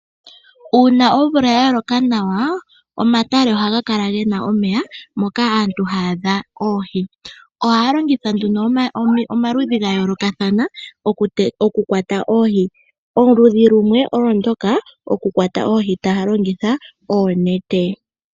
Uuna omvula ya loka nawa omatale ohaga kala gena omeya moka aantu haya adha oohi. Ohaya longitha nduno omikalo dha yoolokathana oku kwata oohi. Omukalo gumwe ogo nguno goku kwata oohi noonete .